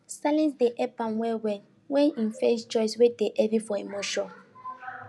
silence dey help am wellwell wen e face choice wey dey heavy for emotion